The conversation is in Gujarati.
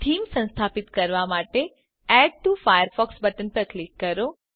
થીમ સંસ્થાપિત કરવા માટે એડ ટીઓ ફાયરફોક્સ બટન પર ક્લિક કરો